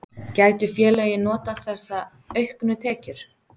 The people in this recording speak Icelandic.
Gætu félögin notað þessa auknu tekjur?